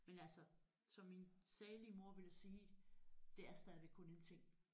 Men altså som min salige mor ville sige det er stadigvæk kun en ting